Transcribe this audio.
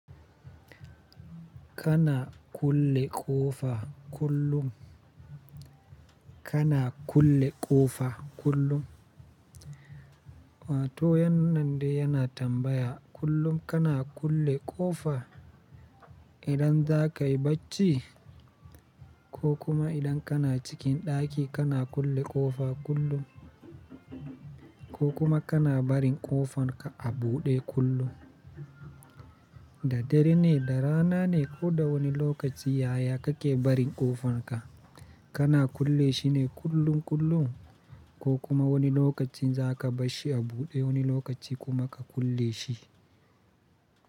Kana kulle ƙofa kullum. Kana kulle ƙofa kullum. Wato yannan de yana tambaya kullum kana kulle ƙofa idan za ka yi bacci ko kuma idan kana cikin ɗaki kana kulle ƙofa kullum ko kuma kana barin ƙofan ka a buɗe kullum. Da dare ne da rana ne ko da wani lokaci yaya kake barin ƙofan ka? Kana kulle shi ne kullum kullum ko kuma wani lokaci za ka bashi a buɗe wani lokaci kuma ka kulle shi?